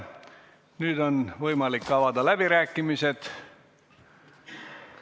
Nüüd on võimalik avada läbirääkimised.